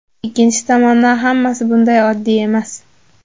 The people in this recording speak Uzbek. Ikkinchi tomondan, hammasi bunday oddiy emas.